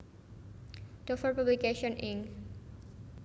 Dover Publications Inc